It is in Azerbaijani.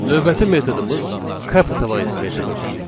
Növbəti metodumuz capitalize metodudur.